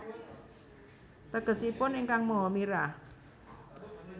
Tegesipun Ingkang Maha Mirah